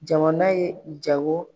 Jamana ye jago.